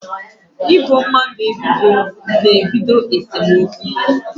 Ị bo mmadụ ebubo na-ebido esemokwu